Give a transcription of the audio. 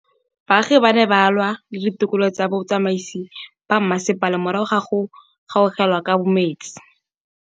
Baagi ba ne ba lwa le ditokolo tsa botsamaisi ba mmasepala morago ga go gaolelwa kabo metsi